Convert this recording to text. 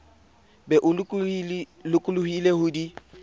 be o lokollohile ho di